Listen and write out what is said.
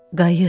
Qayıt.